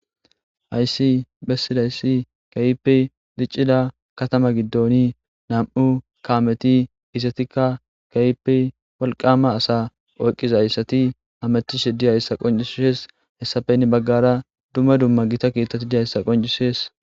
Hayssi bessidayssi keehippe diccida katama giddoni nam'u kaameti izetikka keehippe walqama asa oyqizayssati hametishe diyayssa qoncises hessappe henni baggara dumma dumma giitta keettatti diyayssa qoncisees